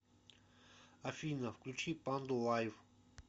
афина включи панду лайв